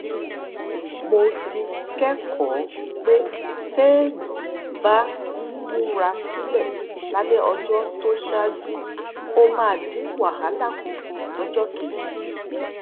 mo ti kékòó pé téèyàn bá ń múra sílè lálé ọjó tó ṣáájú ó máa dín wàhálà kù lójó kejì